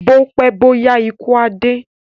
Bó pẹ́ bó yá ikú á dé